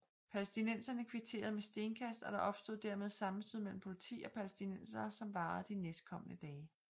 Palæstinenserne kvitterede med stenkast og der opstod dermed sammenstød mellem Politi og Palæstinenserne som varede de næstkomne dage